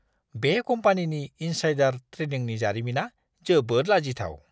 बे कम्पानिनि इन्साइडार ट्रेडिंनि जारिमिना जोबोद लाजिथाव!